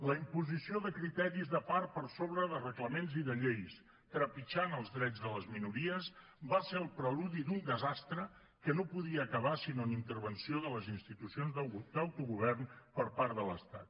la imposició de criteris de part per sobre de reglaments i de lleis trepitjant els drets de les minories va ser el preludi d’un desastre que no podia acabar sinó en intervenció de les institucions d’autogovern per part de l’estat